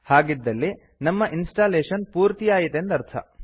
ಹಾಗಿದ್ದಲ್ಲಿ ನಮ್ಮ ಇನ್ಸ್ಟಾಲೇಶನ್ ಪೂರ್ತಿಯಾಯಿತೆಂದರ್ಥ